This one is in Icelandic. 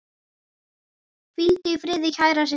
Hvíldu í friði, kæra systir.